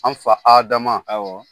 An fa Adama, awɔ.